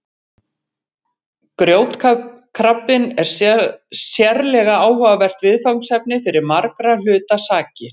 Grjótkrabbinn er sérlega áhugavert viðfangsefni fyrir margra hluta sakir.